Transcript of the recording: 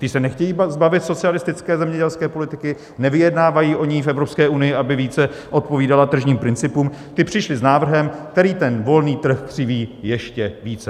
Ti se nechtějí zbavit socialistické zemědělské politiky, nevyjednávají o ní v Evropské unii, aby více odpovídala tržním principům, ti přišli s návrhem, který ten volný trh křiví ještě více.